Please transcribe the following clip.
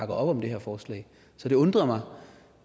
op om det her forslag så det undrer mig